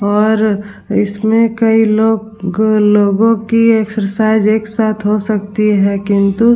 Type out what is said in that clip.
और इसमें कई लोग लोगो की एक्सरसाइज़ एक साथ हो सकती है किन्तु --